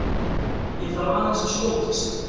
ÉG ÞARF AÐEINS AÐ SKJÓTAST!